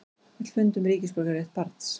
Vill fund um ríkisborgararétt barns